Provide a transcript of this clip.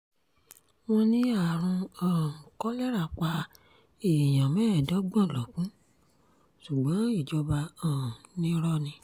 wọ́n ní àrùn um kolera pa èèyàn mẹ́ẹ̀ẹ́dọ́gbọ̀n lọ́gun ṣùgbọ́n ìjọba um ni irọ́ ni